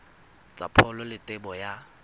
tsa pholo le tebo ya